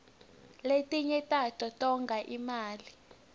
lefinye tato tonga imali